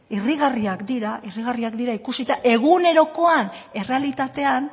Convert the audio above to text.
irrigarriak dira irrigarriak dira ikusita egunerokoan errealitatean